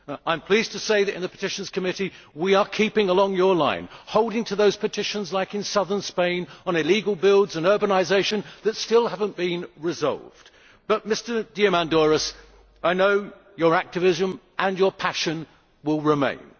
I am pleased to say that in the Committee on Petitions, we are keeping along your line, holding to those petitions, like the ones in southern Spain on illegal builds and on urbanisation, that still have not been resolved. But, Mr Diamandouros, I know your activism and your passion will remain.